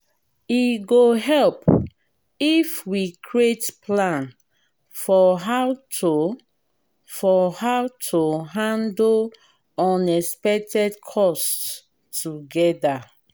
e go help if we create plan for how to for how to handle unexpected costs together.